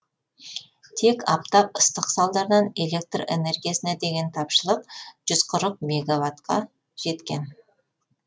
тек аптап ыстық салдарынан электр энергиясына деген тапшылық жүз қырық мегаватқа жеткен